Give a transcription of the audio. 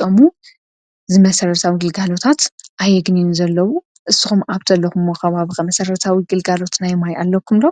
ከባቢኩም ከ?